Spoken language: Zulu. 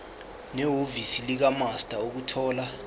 nehhovisi likamaster ukuthola